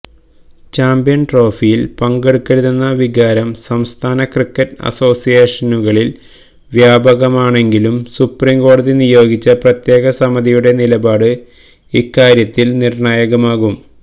champions ട്രോഫിയില് പങ്കെടുക്കരുതെന്ന വികാരം സംസ്ഥാന ക്രിക്കറ്റ് അസോസിയേഷനുകളില് വ്യാപകമാണെങ്കിലും സുപ്രീംകോടതി നിയോഗിച്ച പ്രത്യേക സമിതിയുടെ നിലപാട് ഇക്കാര്യത്തില് നിര്ണായകമാകും